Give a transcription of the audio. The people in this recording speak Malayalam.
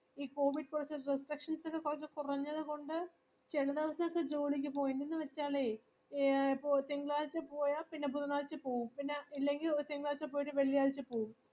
ഇ COVID പോയിട്ട് restrictions കുറച്ചു കുറഞ്ഞതു കൊണ്ട് ചിലദിവസോകെ ജോലിക്കുപോവും എന്തെന്നുവെച്ചാൽ തിങ്കളാചപോയ പിന്നെ ബുധനാഴ്ചപോവും പിന്നെ ഇല്ലെങ്കിൽ ഒരു തിങ്കളാഴ്ച പോയിട്ടു വെള്ളിയാഴ്ച പോവും